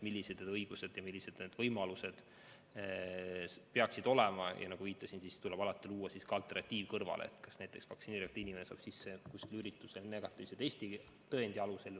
Nagu ma enne viitasin, alati tuleb luua ka alternatiiv, näiteks et vaktsineerimata inimene saab üritusele sisse negatiivse testi tõendi alusel.